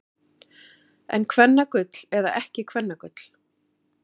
En kvennagull eða ekki kvennagull.